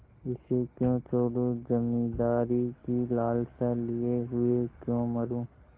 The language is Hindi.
इसे क्यों छोडूँ जमींदारी की लालसा लिये हुए क्यों मरुँ